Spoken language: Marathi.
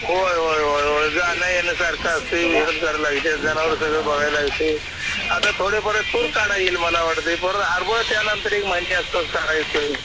होय होय होय होय जाणंयेणं सारखं असतंय मेहनत करावी लगती जनावर सगळं बघायला लागत आहे आता थोडंफार तूर नन्तरी